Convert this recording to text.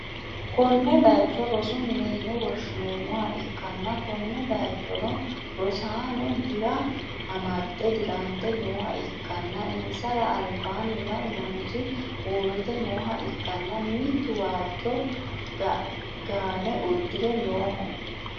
konne bayicho rosu mine yine woshhsi'neemmoha ikkanna, konne bayichono rosaano dira amadde dirante nooha ikkanna, insara albaanni lamu manichi uurrite nooha ikkana, mittu waajjo gaane uddi're nooho,